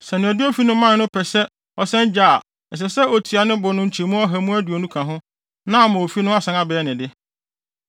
Sɛ nea ɔde ofi no mae no pɛ sɛ ɔsan gye a ɛsɛ sɛ otua ne bo no nkyɛmu ɔha mu aduonu ka ho na ama ofi no asan abɛyɛ ne de.